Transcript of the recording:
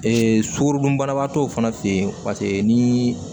Ee sukorodunbanatɔw fana fe yen paseke ni